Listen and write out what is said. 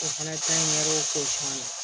O fana t'an ɲɛw k'o la